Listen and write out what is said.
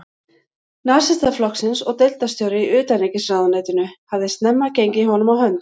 Nasistaflokksins og deildarstjóri í utanríkisráðuneytinu, hafði snemma gengið honum á hönd.